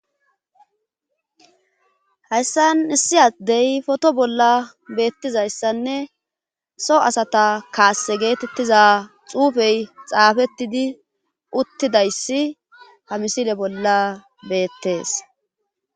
Hayssan issi addey foto bolla beettizayssanne so asata kaasse geetettiza xuufey xaafettidi uttidayssi ha misile bolla beettes